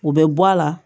O bɛ bɔ a la